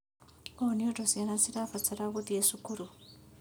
ũũ nĩũndũ ciana nĩirabatara gũthiĩ cukuru